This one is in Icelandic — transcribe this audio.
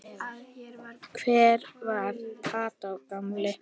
Hver var Kató gamli?